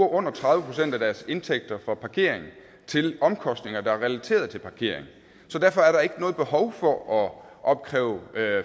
under tredive procent af deres indtægter fra parkering til omkostninger der er relateret til parkering så derfor er der ikke noget behov for at opkræve